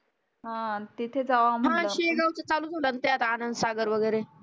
हा तिथ जावा म्हटलं हा शेगावच चालू झाला ना आता आनंद सागर वगैरे